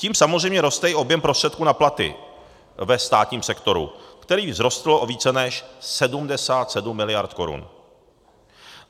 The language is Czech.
Tím samozřejmě roste i objem prostředků na platy ve státním sektoru, který vzrostl o více než 77 mld. korun.